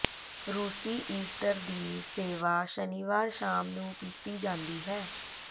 ਰੂਸੀ ਈਸਟਰ ਦੀ ਸੇਵਾ ਸ਼ਨੀਵਾਰ ਸ਼ਾਮ ਨੂੰ ਕੀਤੀ ਜਾਂਦੀ ਹੈ